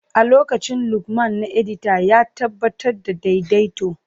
A lokacin Lukman na edita, ya tabbatar da daidaito.